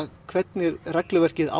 hvernig regluverkið á